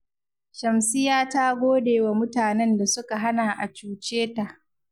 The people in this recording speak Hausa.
Shamsiyya ta gode wa mutanen da suka hana a cuce ta